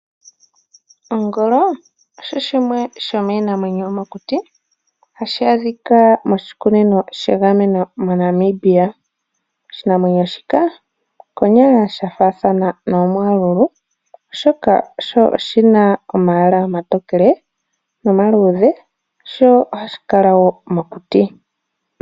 Ongolo osho shimwe shomiinamwenyo mokuti hashi adhika moshukunino shegameno moNamibia. Oshinamwenyo shika konyala osha faathana nogwamululu oshoka owala sho oshina omalwaala omatookele nomaluudhe sho ohashi kala wo mokuti.